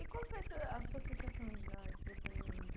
E qual foi essa a sua sensação de dar esse depoimento?